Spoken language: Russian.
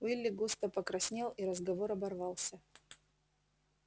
уилли густо покраснел и разговор оборвался